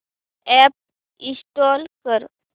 app install कर